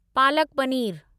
palak paneer